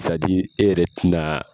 e yɛrɛ te na